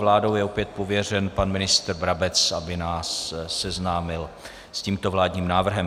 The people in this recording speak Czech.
Vládou je opět pověřen pan ministr Brabec, aby nás seznámil s tímto vládním návrhem.